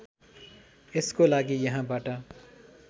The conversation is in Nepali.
यसको लागि यहाँबाट